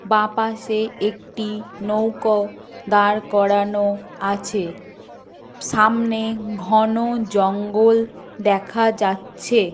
বাঁ পাশে একটি নৌকো দাঁড় করানো আছে। সামনে ঘন জঙ্গল দেখা যাচ্ছে।